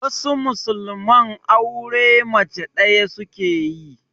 Wasu musulman aure mace ɗaya suke yi.